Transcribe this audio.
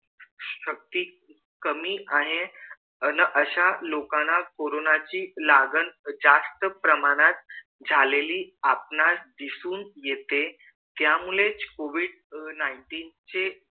शक्ती कमी आहे अह अश्या लोकांना कोरोनाची लागण जास्त प्रमाणात झालेली आपणास दिसून येते त्यामुळेच covid nineteen चे